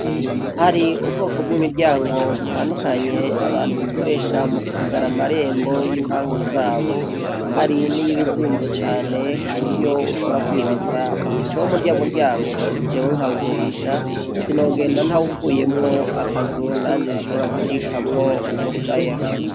Hari ubwoko bwimiryango butandukanye abantu bakoresha mukugara amarembo yi mpagu zabo hari niyizimvye cane kuburyo ushobora kwibaza uti icompa urya muryango jewe nkawugurisha sinogenda ntawukuyemwo akazu nanje shobora gukikamwo umusaya